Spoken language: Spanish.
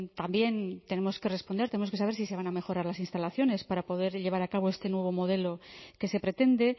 también tenemos que responder tenemos que saber si se van a mejorar las instalaciones para poder llevar a cabo este nuevo modelo que se pretende